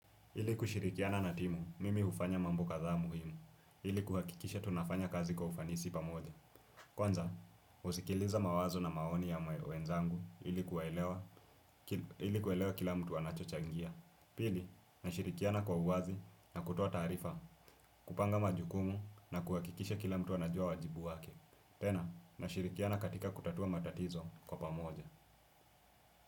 Ili kushirikiana na timu, mimi ufanya mambo kadhaa muhimu. Ili kuhakikisha tunafanya kazi kwa ufanisi pamoja. Kwanza, usikiliza mawazo na maoni ya mwenzangu ilikuwelewa kila mtu anacho changia. Pili, nashirikiana kwa uwazi na kutua tarifa, kupanga majukumu na kuhakikisha kila mtu anajua wajibu wake. Tena, nashirikiana katika kutatua matatizo kwa pamoja.